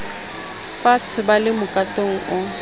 faatshe ba le mokatong o